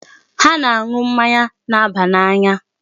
Ha na-aṅụ mmanya na-aba n'anya.